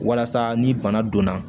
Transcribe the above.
Walasa ni bana donna